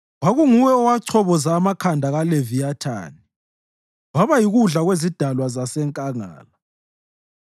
Kwakunguwe owachoboza amakhanda kaLeviyathani waba yikudla kwezidalwa zasenkangala.